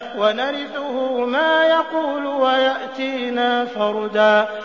وَنَرِثُهُ مَا يَقُولُ وَيَأْتِينَا فَرْدًا